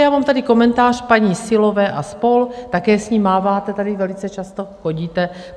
Já mám tady komentář paní Syllové a spol. - také s ním máváte tady velice často, chodíte.